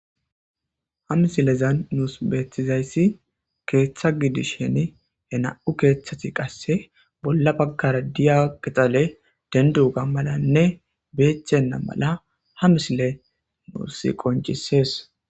Ha misilezan nus beetizay keetha gidishin he nam'u keethas qase bolla bagara diza qixaley dendoga malamne beetenaga mala ha misiley qoncises.